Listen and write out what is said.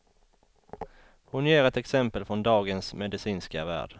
Hon ger ett exempel från dagens medicinska värld.